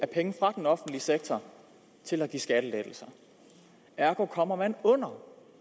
penge fra den offentlige sektor til at give skattelettelser ergo kommer man under